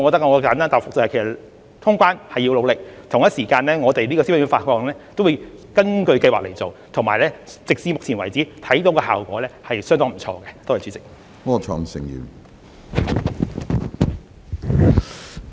我簡單答覆，通關是要努力的，同時，消費券的發放也會根據計劃去做，到目前為止，我們看到的效果也是相當不錯的。